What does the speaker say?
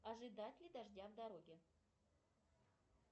ожидать ли дождя в дороге